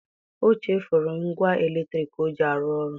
O chefuru ngwa eletriki o ji arụ ọrụ.